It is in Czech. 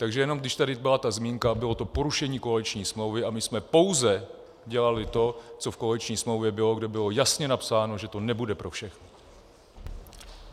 Takže jenom když tady byla ta zmínka, bylo to porušení koaliční smlouvy a my jsme pouze dělali to, co v koaliční smlouvě bylo, kde bylo jasně napsáno, že to nebude pro všechny.